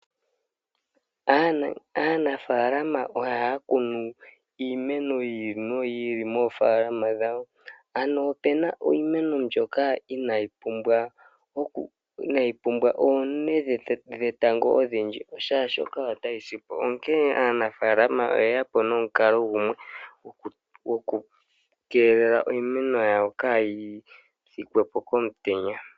Aanafaalama ohaya kunu iimeno yi ili noyi ili moofaalama dhawo. Ano ope na iimeno mbyoka inaayi pumbwa oonte dhetango odhindji, oshoka ota yi si po. Onkene aanafaalama oye ya po nomukalo gumwe goku keelela iimeno yawo kaayi pye po komutenya.